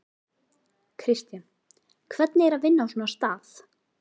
Kristján: Hvernig er að vinna á svona stað?